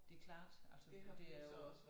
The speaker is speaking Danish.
Det klart altså det er jo